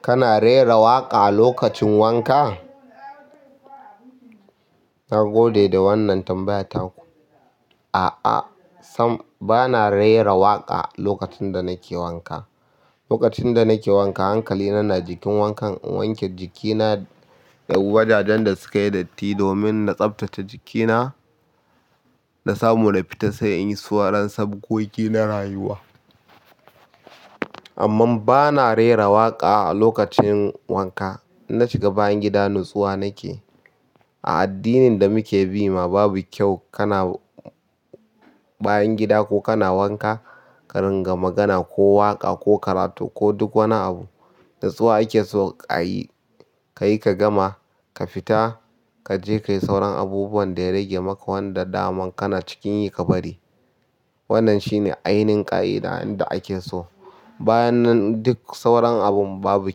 Kana rera waƙa lokacin wanka? Na gode da wannan tambayar taku. A'a sam, bana rera waƙa lokacin da nake wanka. Lokacin da nake wanka hankali na na jikin wankan, in wanke jikina, da wajajen da sukayi datti domin na tsaftace jikina, na samu na fita sai in yi sauran sabgogi na rayuwa. Amma bana rera waƙa lokacin wanka. Inna shiga bayan gida nutsuwa nake. A addinin da muke bi ma babu kyau kana bayan gida ko kana wanka ka ringa magana ko waƙa ko karatu ko duk wani abu. Nutsuwa ake so a yi, ka yi ka gama ka fita kaje kayi sauran abubuwan da ya rage maka wanda daman kana cikin yi ka bari. Wannan shine ainihin ƙa'ida inda ake so. Bayan nan duk sauran abun babu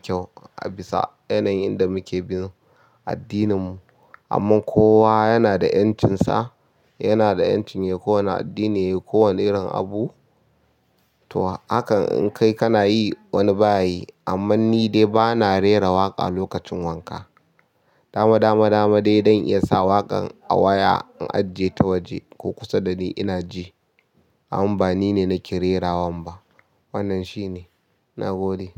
kyau a bisa yanayin da muke bin addinin mu. Amma kowa yana da ƴancinsa, yana da ƴanci yayi ko wane addini yayi kowane irin abu. To hakan in kai kana yi wani bayi amma ni dai bana rera waƙa lokacin wanka. Dama, dama, dama dai dan iya sa waƙan a waya in ajiye ta waje ko kusa da ni ina ji. Amma ba nine nake rerawan ba. Wannan shine. Na gode.